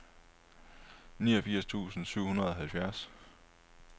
niogfirs tusind syv hundrede og halvfjerds